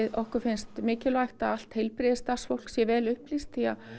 okkur finnst mikilvægt að allt heilbrigðisstarfsfólk sé vel upplýst